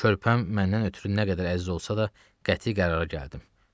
Körpəm məndən ötrü nə qədər əziz olsa da, qəti qərara gəldim.